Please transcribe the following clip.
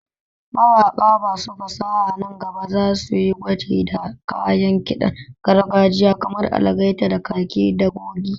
Mawaƙa masu fasaha nan gaba za su yi gwaji da kayan ƙiɗan gargajiya kamar algaita da kakaki da goge.